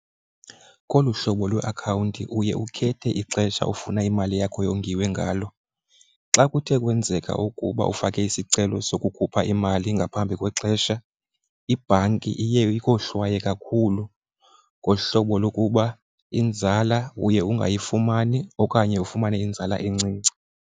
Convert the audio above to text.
Kolu hlobo lweakhawunti uye ukhethe ixesha ofuna imali yakho yongiwe ngalo. Xa kuthe kwenzeka ukuba ufake isicelo sokukhupha imali ngaphambi kwexesha, ibhanki iye ukohlwaye kakhulu ngohlobo lokuba inzala uye ungayifumani okanye ufumane inzala encinci.